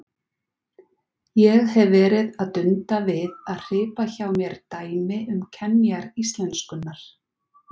Ég hef verið að dunda við að hripa hjá mér dæmi um kenjar íslenskunnar.